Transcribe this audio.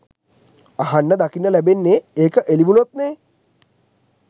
අහන්න දකින්න ලැබෙන්නේ ඒක එළිවුණොත්නේ